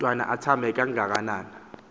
mntwana athambe kangakanana